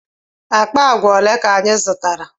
Akpa agwa ole ka anyị zụtara?